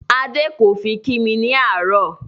Adé kò fi kí mi ní àárò